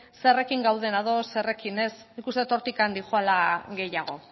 zerrekin gauden ados zerrekin ez nik uste dut hortik doala gehiago